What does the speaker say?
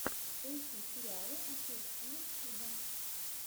поищи сериалы актер стивен сигал